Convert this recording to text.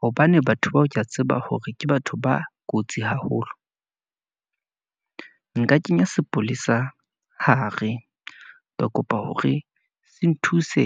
Hobane batho bao ke a tseba hore ke batho ba kotsi haholo , nka kenya sepolesa hare, ka kopa hore se nthuse